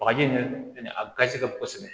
Bagaji nunnu fɛnɛ a gazi ka bon kosɛbɛ